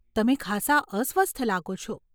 તમે ખાસા અસ્વસ્થ લાગો છો.